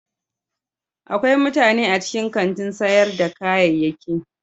Akwai mutane a cikin kantin sayar da kayayyaki.